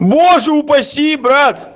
боже упаси брат